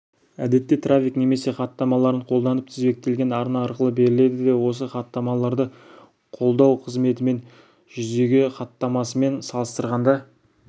әдетте трафик немесе хаттамаларын қолданып тізбектелген арна арқылы беріледі де осы хаттамаларды қолдау қызметімен жүзеге хаттамасымен салыстырғанда